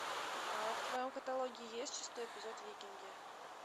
в твоем каталоге есть шестой эпизод викинги